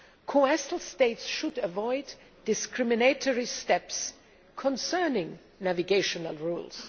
Coastal states should avoid discriminatory steps concerning navigational rules.